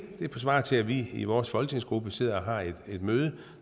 det svarer til at vi i vores folketingsgruppe sidder og har et møde